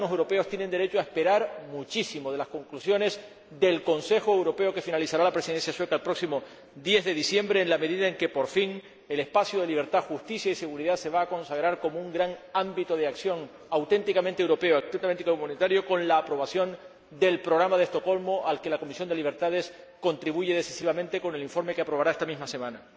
Los ciudadanos europeos tienen derecho a esperar muchísimo de las conclusiones del Consejo Europeo con el que finalizará la Presidencia sueca el próximo 10 de diciembre, en la medidad en que, por fin, el espacio de libertad, justicia y seguridad se va a consagrar como un gran ámbito de acción auténticamente europeo, auténticamente humanitario, con la aprobación del Programa de Estocolmo, al que la Comisión de Libertades, Justicia e Interior contribuye decisivamente con el informe que aprobará esta misma semana.